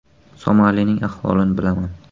Somalining ahvolini bilaman.